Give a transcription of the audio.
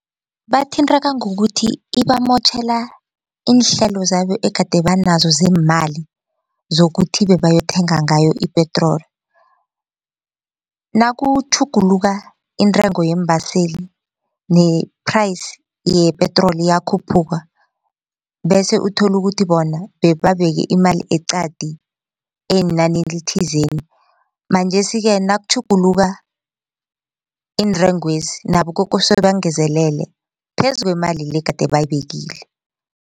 Bathinteka ngokuthi ibamotjhela iinhlelo zabo egade banazo zeemali zokuthi bebayokuthenga ngayo ipetroli. Nakutjhuguluka intengo yeembaseli ne-price yepetroli iyakhuphuka bese uthole ukuthi bona bebabeke imali eqadi eyinani elithizeni. Manjesike nakutjhuguluka iintengwezi nabo kokose bangezelele phezu kwemali le gade bayibekile.